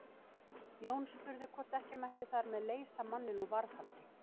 Jón spurði hvort ekki mætti þar með leysa manninn úr varðhaldi.